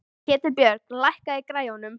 Ketilbjörg, lækkaðu í græjunum.